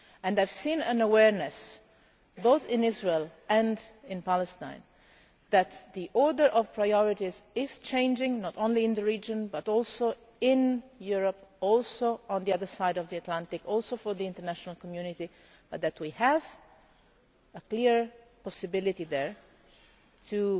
I saw an awareness both in Israel and in Palestine that the order of priorities is changing, not only in the region but also in Europe, and also on the other side of the Atlantic, also for the international community, and that we have a clear possibility there of